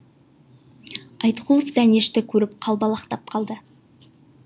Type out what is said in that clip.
айтқұлов дәнешті көріп қалбалақтап қалды